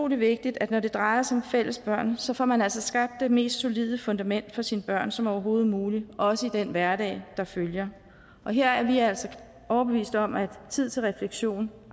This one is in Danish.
vigtigt at når det drejer sig fælles børn så får man altså skabt det mest solide fundament for sine børn som overhovedet muligt også i den hverdag der følger og her er vi altså overbevist om at tid til refleksion